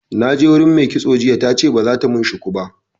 Na je wurin me kitson jiya tace ba zata mun shuku ba